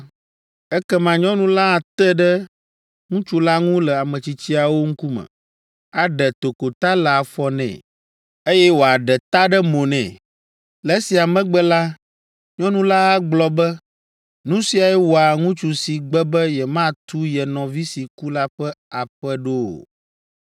ekema nyɔnu la ate ɖe ŋutsu la ŋu le ametsitsiawo ŋkume, aɖe tokota le afɔ nɛ, eye wòaɖe ta ɖe mo nɛ. Le esia megbe la, nyɔnu la agblɔ be, ‘Nu siae wɔa ŋutsu si gbe be yematu ye nɔvi si ku la ƒe aƒe ɖo o.’